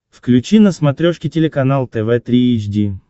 включи на смотрешке телеканал тв три эйч ди